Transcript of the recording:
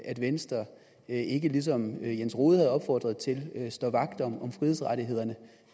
at venstre ikke ligesom herre jens rohde har opfordret til står vagt om frihedsrettighederne